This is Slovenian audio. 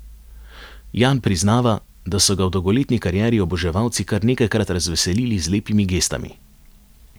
Jan priznava, da so ga v dolgoletni karieri oboževalci kar nekajkrat razveselili z lepimi gestami.